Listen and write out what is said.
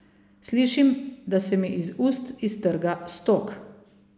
Slišim, da se mi iz ust iztrga stok.